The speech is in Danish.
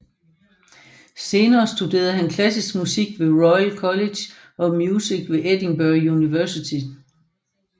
Senere studerede han klassisk musik ved Royal College of Music og ved Edinburgh Universitet